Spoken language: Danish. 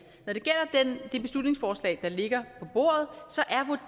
gælder det beslutningsforslag der ligger på bordet